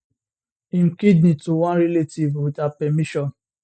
im kidney to one relative wit her permission